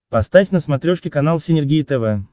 поставь на смотрешке канал синергия тв